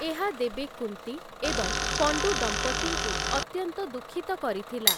ଏହା ଦେବୀ କୁନ୍ତି ଏବଂ ପଣ୍ଡୁ ଦମ୍ପତିଙ୍କୁ ଅତ୍ୟନ୍ତ ଦୁଃଖିତ କରିଥିଲା ।